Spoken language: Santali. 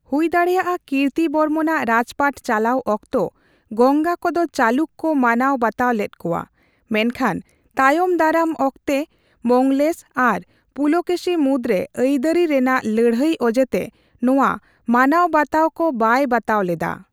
ᱦᱩᱭᱫᱟᱲᱮᱭᱟᱜᱼᱟ ᱠᱤᱨᱛᱤ ᱵᱚᱨᱢᱚᱱᱟᱜ ᱨᱟᱡᱯᱟᱴ ᱪᱟᱞᱟᱣ ᱚᱠᱛᱚ ᱜᱚᱝᱜᱟ ᱠᱚᱫᱚ ᱪᱟᱞᱩᱠᱚ ᱠᱚ ᱢᱟᱱᱟᱣ ᱵᱟᱛᱟᱣ ᱞᱮᱫ ᱠᱚᱣᱟ, ᱢᱮᱱᱠᱷᱟᱱ ᱛᱟᱭᱚᱢᱫᱟᱨᱟᱢ ᱚᱠᱛᱮ ᱢᱚᱝᱜᱚᱞᱮᱥᱚ ᱟᱨ ᱯᱩᱞᱩᱠᱮᱥᱤ ᱢᱩᱫᱨᱮ ᱟᱹᱭᱫᱟᱹᱨᱤ ᱨᱮᱱᱟᱜ ᱞᱟᱹᱲᱦᱟᱹᱭ ᱚᱡᱮᱛᱮ ᱱᱚᱣᱟ ᱢᱟᱱᱟᱣᱵᱟᱛᱟᱣ ᱠᱚ ᱵᱟᱭ ᱵᱟᱛᱟᱣ ᱞᱮᱫᱟ ᱾